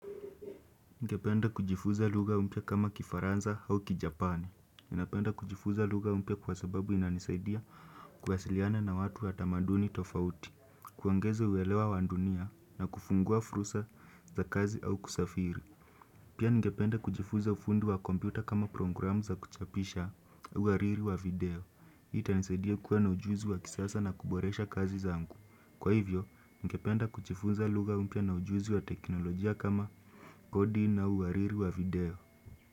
Ningependa kujifunza lugha mpya kama kifaranza au kijapan. Ningependa kujifunza lugha mpya kwa sababu inanisaidia kuwasiliana na watu wa tamaduni tofauti, kuongeza uelewa wa dunia na kufungua fursa za kazi au kusafiri. Pia ningependa kujifunza ufundi wa kompyuta kama programu za kuchapisha uwariri wa video. Itanisaidia kuwa na ujuzi wa kisasa na kuboresha kazi zangu. Kwa hivyo, ningependa kujifunza lugha upya na ujuzi wa teknolojia kama kodi na uwariri wa video.